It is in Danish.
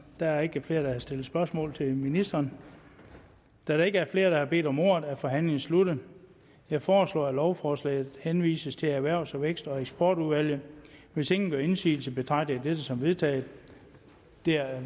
der er ikke flere der vil stille spørgsmål til ministeren da der ikke er flere der har bedt om ordet er forhandlingen sluttet jeg foreslår at lovforslaget henvises til erhvervs vækst og eksportudvalget hvis ingen gør indsigelse betragter jeg dette som vedtaget det er